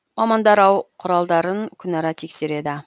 мамандар ау құралдарын күнара тексереді